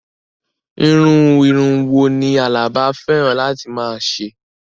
Irú irun wo ni Àlàbá fẹ́ràn láti máa ṣe?